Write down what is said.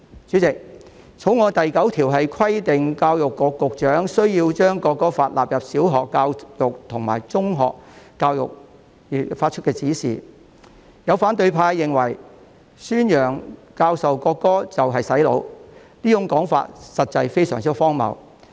主席，《條例草案》第9條規定教育局局長須就將國歌納入小學教育及中學教育發出指示，有反對派認為，宣揚、教授國歌即是"洗腦"，這種說法實在非常荒謬。